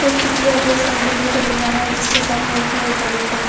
चित्र में सब देखने को मिल रहा है जिसके सामने एस_बी_आई बैंक है।